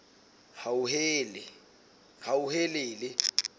hauhelele